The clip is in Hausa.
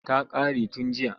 Ta ƙare tun jiya.